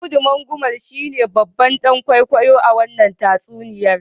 Audu Mangumal shine babban dan kwaikwayo a wannan tatsuniyar.